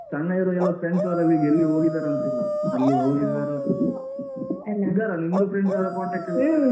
ಸಣ್ಣ ಇರುವಾಗೆಲ್ಲ friends ವರೆಲ್ಲ ಈಗ ಎಲ್ಲಿ ಹೋಗಿದ್ದಾರಂತಿಲ್ಲ ಎಲ್ಲಿ ಹೋಗಿದ್ದಾರಾ ನಿಮ್ದು friends ಯಾರಾದ್ರು contact ಅಲ್ಲಿ